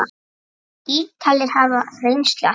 Ítalir hafa reynslu af því.